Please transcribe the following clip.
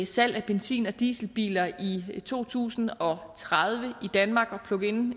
salg af benzin og dieselbiler i to tusind og tredive i danmark og plug in